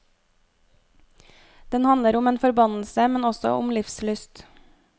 Den handler om en forbannelse, men også om livslyst.